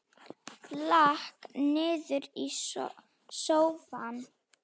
Lak niður í sófann.